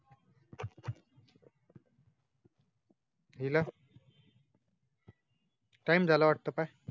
हिला टाइम जाला वाटतो काय